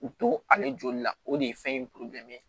U to ale joli la o de ye fɛn in